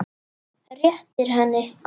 Réttir henni.